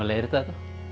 að leiðrétta þetta